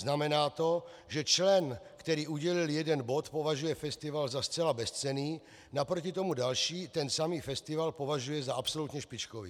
Znamená to, že člen, který udělil jeden bod, považuje festival za zcela bezcenný, naproti tomu další ten samý festival považuje za absolutně špičkový.